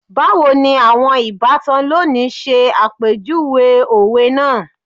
Bawo ni awọn ibatan loni ṣe apejuwe owe naa